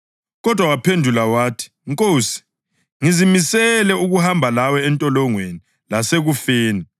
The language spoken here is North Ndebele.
Kodwa waphendula wathi, “Nkosi, ngizimisele ukuhamba lawe entolongweni lasekufeni.”